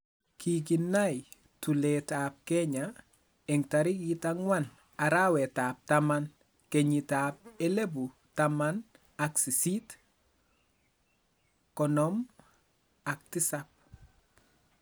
Kikinai tulet ab Kenya eng'tarik ang'wan arawet ab taman kenyit ab elipu taman ak sisit ,konom ak tisap